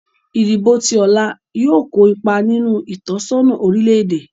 Ìdìbò ti ọ̀la yóò kó ipa nínú ìtọ́sọ́nà orílè-èdè